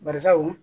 Bari sabu